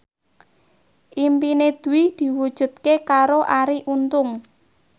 impine Dwi diwujudke karo Arie Untung